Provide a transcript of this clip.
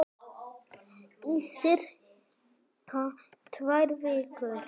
Í sirka tvær vikur.